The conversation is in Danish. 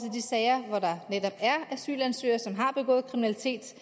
sager hvor der netop er asylansøgere som har begået kriminalitet